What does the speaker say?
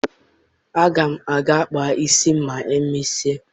Aga m aga kpaa isi m ma e mesịa